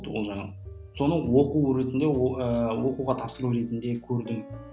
ол жаңа соны оқу ретінде о ыыы оқуға тапсыру ретінде көрдім